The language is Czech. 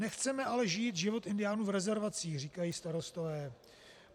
Nechceme ale žít život indiánů v rezervacích, říkají starostové.